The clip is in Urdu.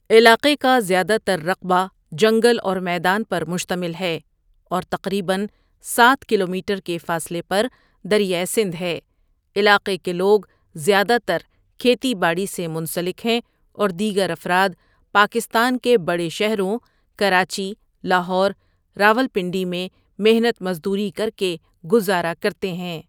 علاقے کازیادہ تررقبہ جنگل اورمیدان پرمشتمل ہے اورتقریبا سات کلومیٹرکے فاصلے پردریا سندھ ہے علاقے کے لوگ زیادہ ترکھیتی باڑی سے منسلک ہیں اوردیگرافرادپاکستان کے بڑے شہروں کراچی، لاہور، راولپنڈئ میں محنت مزدوری کرکےگزارہ کرتے ہیں۔